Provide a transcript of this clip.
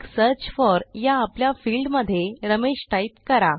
मगSearch for या आपल्या field मध्ये रमेश टाईप करा